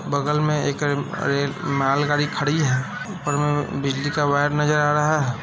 बगल में एक मालगाड़ी खड़ी है ऊपर में बिजली का वायर नजर आ रहा है।